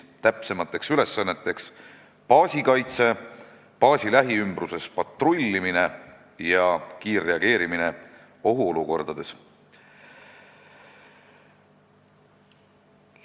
Täpsemad ülesanded on baasi kaitse, patrullimine baasi lähiümbruses ja kiirreageerimine ohuolukordades.